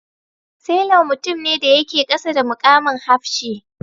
Sailor mutum ne da yake kasa da mukamin hafshi.